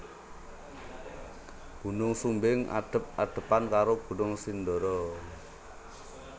Gunung Sumbing adhep adhepan karo Gunung Sindoro